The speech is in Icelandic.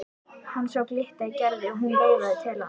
Hann sá glitta í Gerði og hún veifaði til hans.